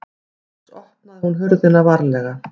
Loks opnaði hún hurðina varlega.